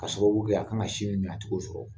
K'a sababu kɛ a ka kan ka sin mun min a tɛ k'o sɔrɔ